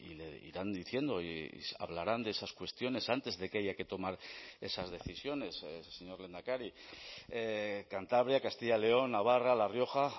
le irán diciendo y hablarán de esas cuestiones antes de que haya que tomar esas decisiones señor lehendakari cantabria castilla y león navarra la rioja